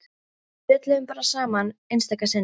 Við spjölluðum bara saman einstaka sinnum.